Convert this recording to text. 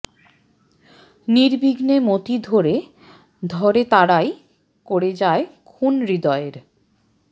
নির্বিঘ্নে মতি ধরে ধরে তারাই করে যায় খুন হৃদয়ের